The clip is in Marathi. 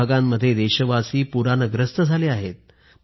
काही भागांमध्ये देशवासी पूरानं ग्रस्त झाले आहेत